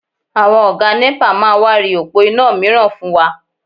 Àwọn Ọ̀gá nẹ́pà máa wá ri òpó iná mìíràn fún wa